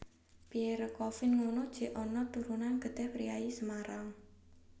Pierre Coffin ngunu jek onok turunan getih priyayi Semarang